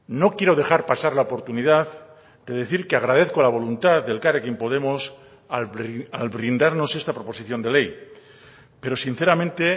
no quiero dejar pasar la oportunidad de decir que agradezco la voluntad de elkarrekin podemos al brindarnos esta proposición de ley pero sinceramente